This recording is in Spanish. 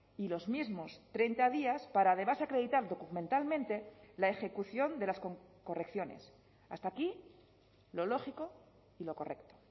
y los mismos treinta días para además acreditar documentalmente la ejecución de las correcciones hasta aquí lo lógico y lo correcto